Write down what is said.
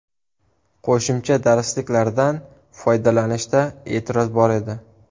Qo‘shimcha darslik¬lardan foydalanishda e’tiroz bor edi.